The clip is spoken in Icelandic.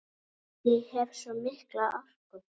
Ég hef svo mikla orku.